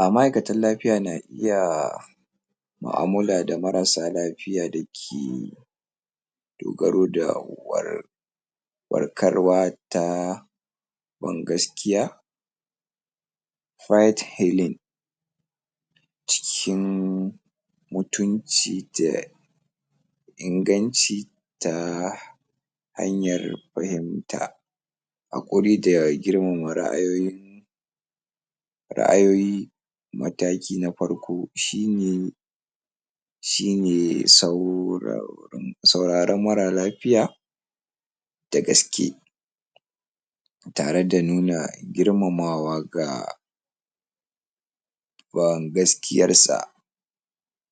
A ma'aikatan lafiya na iya mu'amala da marasa lafiya da ke dogaro da yiwuwar faɗakarwa ta bin gaskiya fight healing cikin mutunci da inganci ta hanyar fahimta haƙuri da girmama ra'ayoyi ra'ayoyi mataki na farko shi ne shi ne sauraron marar lafiya da gaske tare da nuna girmamawa ga wan gaskiyarsa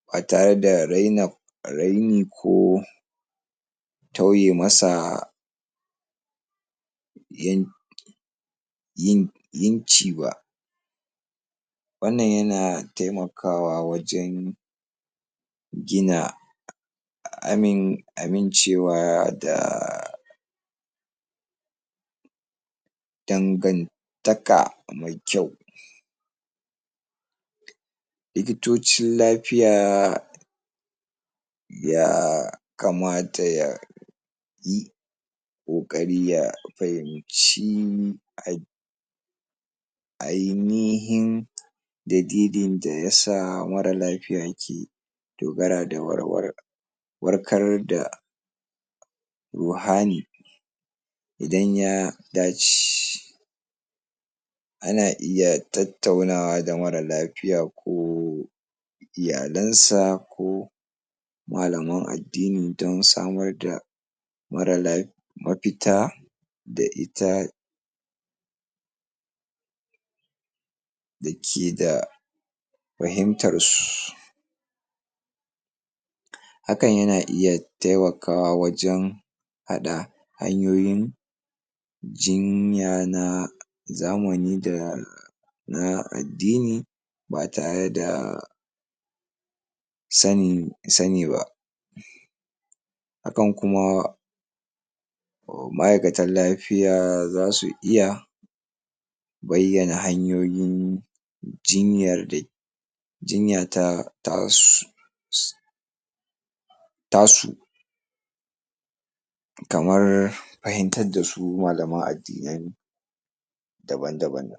ba tare da raina, arin i ko tauye masa yan yin yinci ba wannan yana taimaka wa wajen gina amin amincewa da dangantaka mai kyau likitocin lafiya ya kamata ya yi ƙoƙari ya fahimci a ainihin dalilin da ya sa marar lafiya ke dogara da walwalar warhar da wahani idan ya ya ci ana iya tattauna wa da marar lafiya ko iyalansa ko malaman addini dan samar da marar lafi mafita da ita da ke da fahimtarsu hakan yana ita taimkawa wajen haɗa hanyoyin jinya na zamani da na addini ba tare da sanin sani ba hakan kuma a ma'aikatan lafiya za su iya bayyana hanyoyin jinyar da ke jinya ta ta su su ta su kamar fahimtar da su malaman addinai daban-daban